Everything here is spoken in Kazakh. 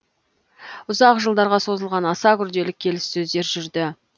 ұзақ жылдарға созылған аса күрделі келіссөздер жүрді